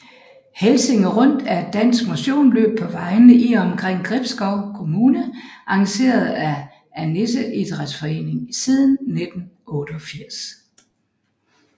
Helsinge Rundt er et dansk motionsløb på vejene i og omkring Gribskov Kommune arrangeret af Annisse Idrætsforening siden 1988